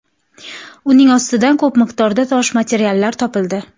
Uning ostidan ko‘p miqdorda tosh materiallar topildi.